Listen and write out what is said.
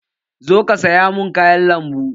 Zo ka saya mun kayan lambu!